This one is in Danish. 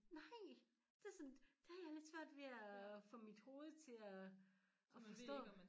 Nej det sådan det har jeg lidt svært ved at få mit hoved til at at forstå